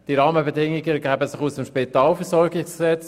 Diese ergeben sich aus dem Spitalversorgungsgesetz.